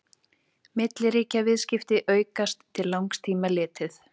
milliríkjaviðskipti aukast til langs tíma litið